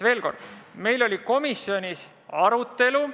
Veel kord: meil oli komisjonis arutelu.